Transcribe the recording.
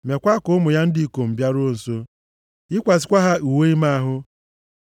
Mekwaa ka ụmụ ya ndị ikom bịaruo nso, yikwasịkwa ha uwe ime ahụ.